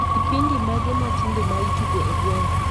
Kipindi mage matinde maitugo e gweng'a